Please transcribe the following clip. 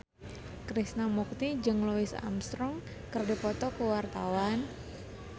Krishna Mukti jeung Louis Armstrong keur dipoto ku wartawan